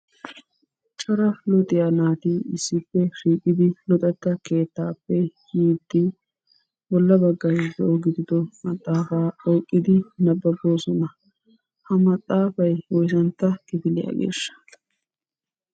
Cora luxiyaa naati issippe shiiqidi luxetta keettaappe yiiddi bolla baggay zo"o gidido maxaafaa oyqqidi nabbaboosona. Ha maxaafay woysantta kifiliyaageeshsha?